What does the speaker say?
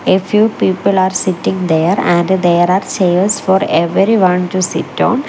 a few people are sitting there and there are chairs for everyone to sit on.